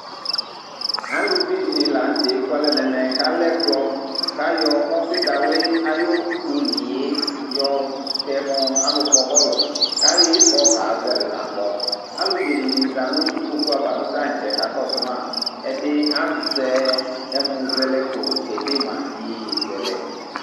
aluvi dɩnɩ la nu tɛ ekualɛ nu ɛmɛ, ku alɛ ɛkplɔ kayɔ ɔfidawli ayʊ oliyɛ yɔtɛ mʊ alʊkpɔ bɔlʊ, ku ayɔ ifɔ kezele kakpɔ, alʊbene dɩnɩ za nu ikpokuava nʊ tătsɛ kakɔsu ma, ɛdɩ azɛ ɛmizɛlɛko kedema iyeyezɛlɛ